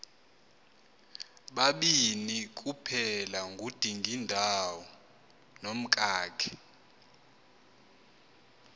babini kuphelangudingindawo nomkakhe